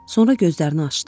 Sonra gözlərini açdı.